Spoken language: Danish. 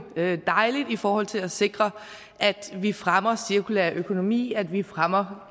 det er dejligt i forhold til at sikre at vi fremmer cirkulær økonomi at vi fremmer